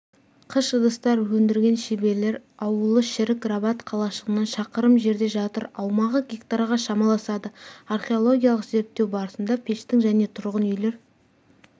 қыш ыдыстар өндірген шеберлер ауылы шірік рабат қалашығынан шақырым жерде жатыр аумағы гектарға шамаласады археологиялық зерттеу барысында пештің және тұрғын үйлер